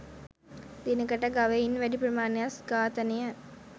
දිනකට ගවයින් වැඩි ප්‍රමාණයක් ඝාතනය